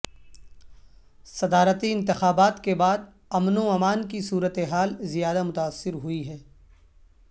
صدارتی انتخابات کے بعد امن وامان کی صورت حال زیادہ متاثر ہوئی ہے